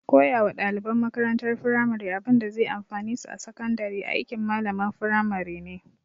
Koya wa ɗaliban makarantar firamare abinda zai amfane su a sakandare aikin malamalan firamare ne